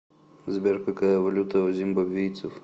сбер какая валюта у зимбабвийцев